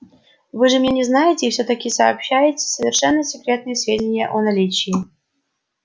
вы же меня не знаете и всё таки сообщаете совершенно секретные сведения о наличии